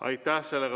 Aitäh!